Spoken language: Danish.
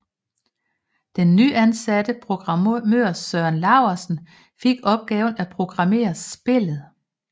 Den nyansatte programmør Søren Lauesen fik opgaven at programmere spillet